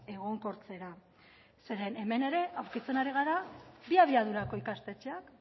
egonkortzera zeren hemen ere aurkitzen ari gara bi abiadurako ikastetxeak